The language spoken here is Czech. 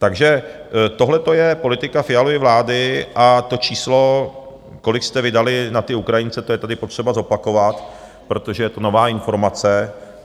Takže tohle to je politika Fialovy vlády a to číslo, kolik jste vydali na ty Ukrajince, to je tady potřeba zopakovat, protože je to nová informace.